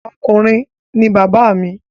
Ọkùnrin ni bàbá mi